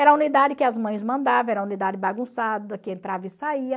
Era a unidade que as mães mandavam, era a unidade bagunçada, que entrava e saía.